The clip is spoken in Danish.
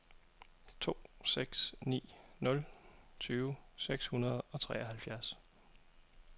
to seks ni nul tyve seks hundrede og treoghalvfjerds